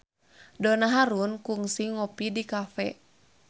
Donna Harun kungsi ngopi di cafe